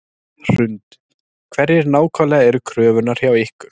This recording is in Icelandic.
Hrund: Hverjar nákvæmlega eru kröfurnar hjá ykkur?